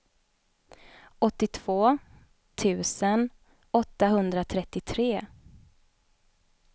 åttiotvå tusen åttahundratrettiotre